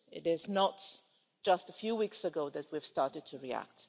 It is not just a few weeks ago that we started to react.